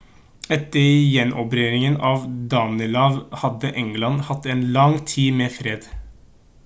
etter gjenerobringen av danelaw hadde england hatt en lang tid med fred